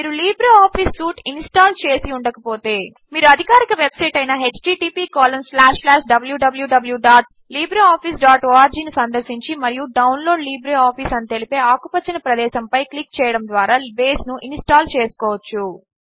మీరు LibreOffice suite install చేసి ఉండకపోతే మీరు అధికారిక వెబ్సైట్ అయిన httpwwwlibreofficeorg ను సందర్శించి మరియు డవన్లోడ్ లిబ్రిఆఫిస్ అని తెలిపే ఆకుపచ్చని ప్రదేశముపై క్లిక్ చేయడము ద్వార బేస్ను ఇన్స్టాల్ చేసుకోవచ్చు